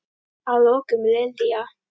Að lokum, Lilja.